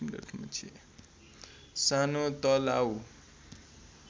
सानो तलाउ